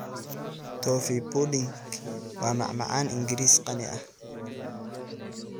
Toffee pudding waa macmacaan Ingiriis qani ah.